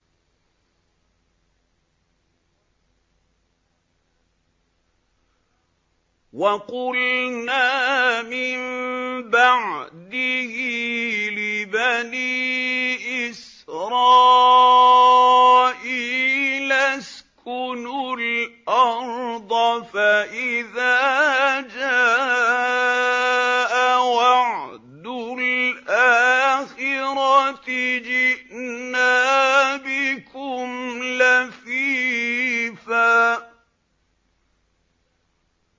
وَقُلْنَا مِن بَعْدِهِ لِبَنِي إِسْرَائِيلَ اسْكُنُوا الْأَرْضَ فَإِذَا جَاءَ وَعْدُ الْآخِرَةِ جِئْنَا بِكُمْ لَفِيفًا